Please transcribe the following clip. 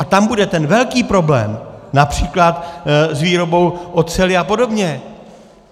A tam bude ten velký problém například s výrobou oceli a podobně.